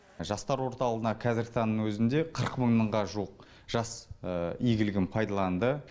жастар орталығына қазіргі таңның өзінде қырық мыңның жуық жас игілігін пайдаланды